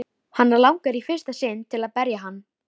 Hana langar í fyrsta sinn til að berja hann.